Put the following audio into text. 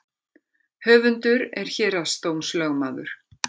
Höfundur er héraðsdómslögmaður